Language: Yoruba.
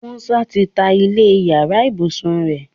Musa tí tá ilé iyàrá ibusùn rẹ.